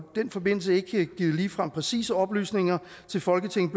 den forbindelse ikke ligefrem givet præcise oplysninger til folketinget